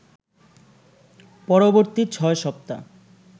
পরবর্তী ছয় সপ্তা